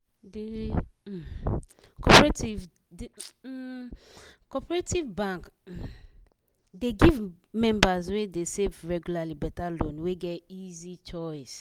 d um cooperative d um cooperative bank um dey give members wey dey save regularly better loan wey get easy choice